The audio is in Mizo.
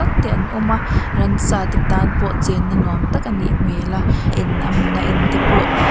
te an awm a ransa te tan pawh chenna nuam tak a ni hmel a en a hmun a en te pawh--